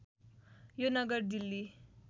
यो नगर दिल्ली